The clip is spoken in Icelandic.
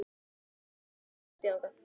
Bjarney, hvernig kemst ég þangað?